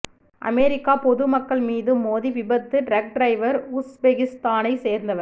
America பொதுமக்கள் மீது மோதி விபத்து டிரக் டிரைவர் உஸ்பெகிஸ்தானை சேர்ந்தவர்